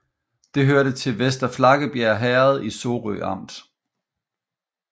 Det hørte til Vester Flakkebjerg Herred i Sorø Amt